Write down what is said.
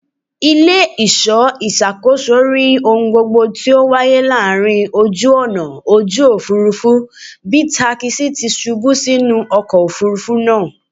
Ile-iṣọ iṣakoso ri ohun gbogbo ti o waye lori oju-ọna oju-ofurufu bi takisi ti ṣubu sinu ọkọ ofurufu naa